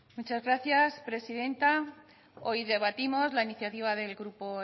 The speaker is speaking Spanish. muchas gracias presidenta hoy debatimos la iniciativa del grupo